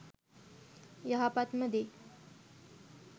යහපත්ම දේ